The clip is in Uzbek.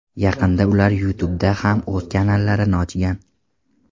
Yaqinda ular YouTube ’da ham o‘z kanallarini ochgan.